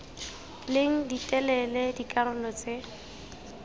leng di telele dikarolo tse